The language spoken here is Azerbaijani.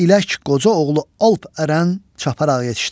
İlək qoca oğlu Alp Ərən çaparaq yetişdi.